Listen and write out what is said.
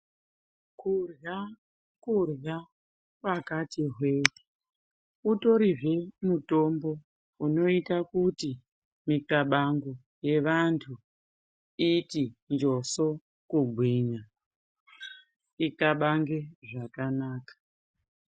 Kudyra kudyra kwakati hwee utori zvee mutombo unoita kuti mixlabango yevantu iti njoso kugwinya ixlabange zvakanaka.